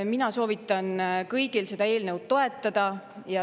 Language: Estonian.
Mina soovitan kõigil seda eelnõu toetada.